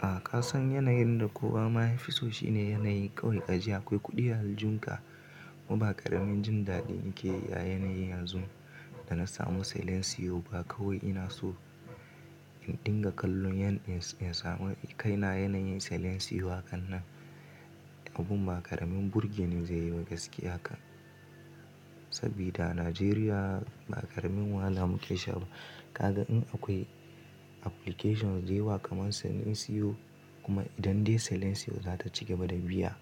A kasan yanayin da kowa ma yafiso shine yanayi kawai ka ji akwai kuɗi a haljunka kuma ba ƙaramin jin daɗi ake a yanayi yanzu da na samu Silencios ba kawai ina so in dinga kallon yan insamu kai na yanayin Silencius hakan nan abun ba ƙaramin burgenin zai yi ba gaskiya kan. Sabida Najeriya ba ƙaramin wahala muke sha ba. Kaga in akwai applications da yawa kaman Silencius kuma idan dai Silencios za ta cigaba da biya